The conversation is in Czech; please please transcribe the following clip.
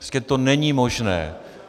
Prostě to není možné.